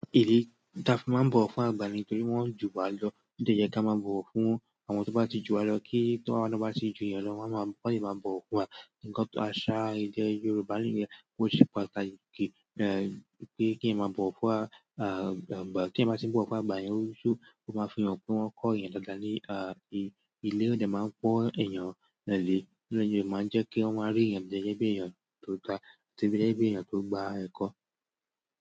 Ìdí tí a fi máa bọ̀wọ̀ fún àgbà ni torí wọn jù wá lọ nítorí e ló yẹ ki a ma bọ̀wọ̀ fún àwọn tí ó bá ti jù wá lọ kí táwa bá tí jù wọn lọ, kí wọn lè máa bọ̀wọ̀ fún wa. Ǹjẹ́ àṣà èdè Yorùbá nìyẹn ó se pàtàkì èmi máa bọ̀ wá fún àgbà ní oṣù, ó máa fi hàn pé wọ́n kọ́ èèyàn dáadáa lé à ìlérí ń jẹ́ máa ń kọ́ èèyàn lé, máa ń jẹ́ kí wọ́n rí i yẹn lé bí èèyàn tó da gẹ́gẹ́ bí èèyàn tó gbà ẹ̀kọ́.